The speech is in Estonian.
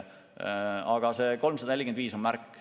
Aga see 345 on märk.